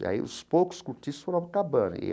E aí os poucos cortiços foram acabando.